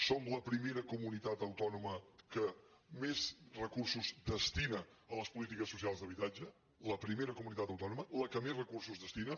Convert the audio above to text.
som la primera comunitat autònoma que més recursos destina a les polítiques socials d’habitatge la primera comunitat autònoma la que més recursos hi destina